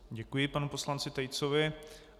Děkuji panu poslanci Tejcovi.